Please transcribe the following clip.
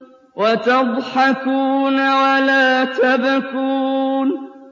وَتَضْحَكُونَ وَلَا تَبْكُونَ